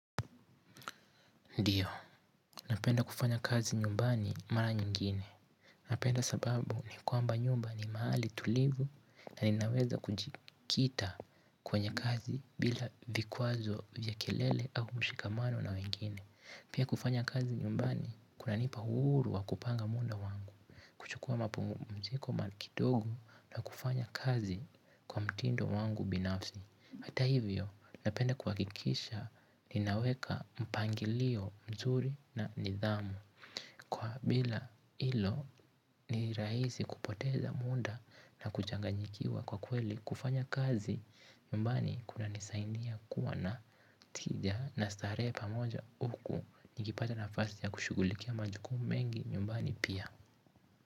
Ndio, napenda kufanya kazi nyumbani mara nyingine. Napenda sababu ni kwamba nyumba ni mahali tulivu na ninaweza kujikita kwenye kazi bila vikwazo vya kelele au mshikamano na wengine. Pia kufanya kazi nyumbani kuna nipa uhuru wa kupanga muda wangu, kuchukua mapumziko ma kidogo na kufanya kazi kwa mtindo wangu binafsi. Hata hivyo napenda kuhakikisha ninaweka mpangilio mzuri na nidhamu kwa bila hilo ni rahisi kupoteza muda na kuchanganyikiwa kwa kweli kufanya kazi nyumbani kuna nisaidia kuwa na tija na starehe pamoja huku nikipata nafasi ya kushughulikia majukumu mengi nyumbani pia.